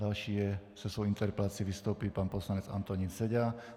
Další se svou interpelací vystoupí pan poslanec Antonín Seďa.